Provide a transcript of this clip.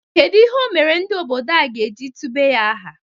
Kedu ihe o mere ndị obodo a ga-eji tube ya aha?